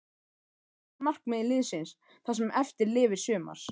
Hvert er markmið liðsins það sem eftir lifir sumars?